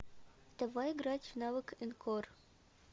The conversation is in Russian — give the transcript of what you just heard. давай играть в навык энкор